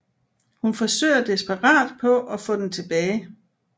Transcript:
Hun forsøger desperat på at få den tilbage